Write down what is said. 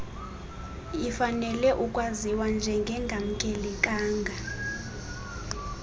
ifanelwe ukwaziwa njengengamkelekanga